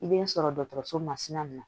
I bɛ n sɔrɔ dɔgɔtɔrɔso masina na